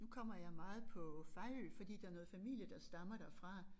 Nu kommer jeg meget på Fejø fordi der noget familie der stammer derfra